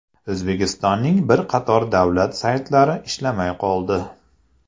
O‘zbekistonning bir qator davlat saytlari ishlamay qoldi .